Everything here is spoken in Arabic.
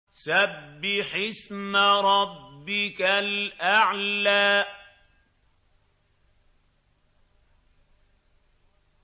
سَبِّحِ اسْمَ رَبِّكَ الْأَعْلَى